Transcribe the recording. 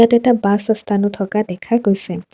ইয়াতে এটা বাছ অষ্ঠানও থকা দেখা গৈছে।